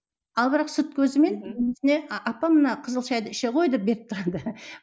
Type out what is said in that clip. ал бірақ сырт көзімен апа мына қызыл шәйді іше ғой деп беріп тұрады